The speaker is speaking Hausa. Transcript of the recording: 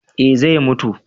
eh zai mutu